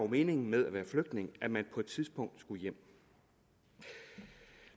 meningen med at være flygtning at man på et tidspunkt skulle hjem